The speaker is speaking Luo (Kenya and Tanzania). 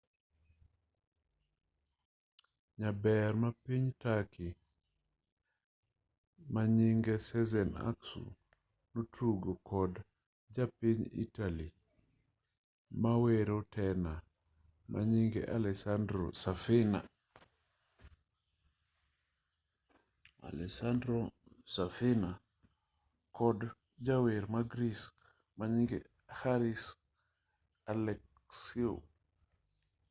nyarber mapiny turkey manyinge sezen aksu notugo kod japiny italy mawero tena manyinge alessandro safina kod jawer ma greece manyinge haris alexiou